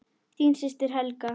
Þín systir, Helga.